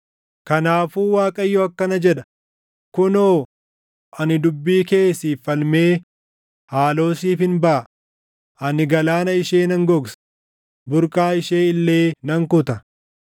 Kanaafuu Waaqayyo akkana jedha: “Kunoo, ani dubbii kee siif falmee haaloo siifin baʼa; ani galaana ishee nan gogsa; burqaa ishee illee nan kuta.